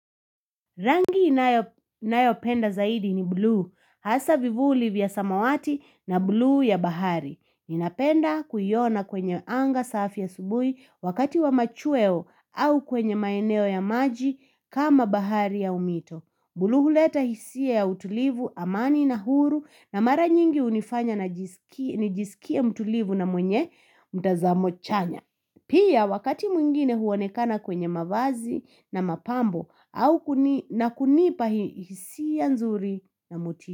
Rangi ninayopenda zaidi ni buluu. Hasa vivuli vya samawati na buluu ya bahari. Ninapenda kuiona kwenye anga safi asubuhi wakati wa machweo au kwenye maeneo ya maji kama bahari aunmito. Buluu huleta hisia ya utulivu, amani na huru na mara nyingi hunifanya na nijisikie mtulivu na mwenye mtazamo chanya. Pia wakati mwingine huonekana kwenye mavazi na mapambo na kunipa hisia nzuri na motisha.